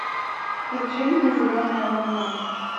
включи мне зеленая волна